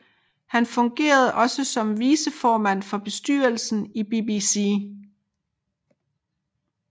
Han fungerede også som viceformand for bestyrelsen i BBC